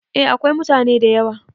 A akwai mutane da yawa